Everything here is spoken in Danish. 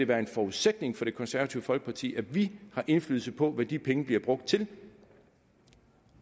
være en forudsætning for det konservative folkeparti at vi har indflydelse på hvad de penge bliver brugt til